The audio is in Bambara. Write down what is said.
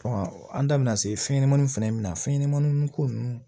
an da bina se fɛn ɲɛnɛmaniw fɛnɛ na fɛnɲɛnɛmani nunnu ko nunnu